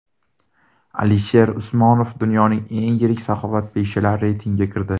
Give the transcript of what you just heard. Alisher Usmonov dunyoning eng yirik saxovatpeshalari reytingiga kirdi.